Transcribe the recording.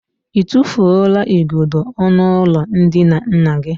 I tụfuola igodo ọnụụlọ ndina nna gị?